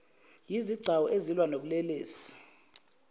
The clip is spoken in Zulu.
yezigcawu ezilwa nobulelesi